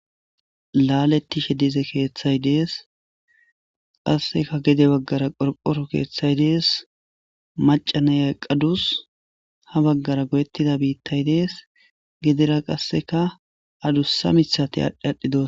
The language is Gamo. laaletishe dize keeththay dees qasseka gede baggara qorqoro keeththay dees macanayay qadus ha baggara godettida biittay dees gedera qasseka adussa mithate adh adhdhidos